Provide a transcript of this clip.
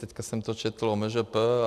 Teď jsem to četl o MŽP.